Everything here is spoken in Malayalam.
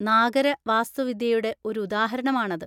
നാഗര വാസ്തുവിദ്യയുടെ ഒരു ഉദാഹരണം ആണത്.